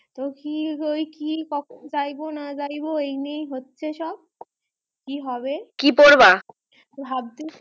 তো কি ওই কি কখন যাইবো না যাইবো ওই নিয়েই হচ্ছে সব কি হবে কি পরবা ভাবতেছি